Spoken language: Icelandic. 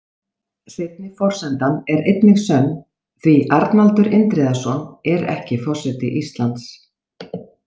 Seinni forsendan er einnig sönn, því Arnaldur Indriðason er ekki forseti Íslands.